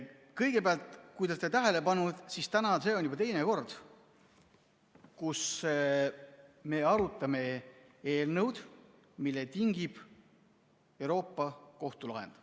Kõigepealt, kui te olete tähele pannud, siis täna on see juba teine kord, kui me arutame eelnõu, mille tingib Euroopa Liidu Kohtu kohtulahend.